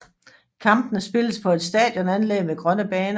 Kampene spilles på et stadionanlæg med grønne baner